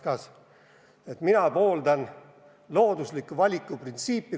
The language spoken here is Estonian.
See etteheide on, et mina pooldan loodusliku valiku printsiipi.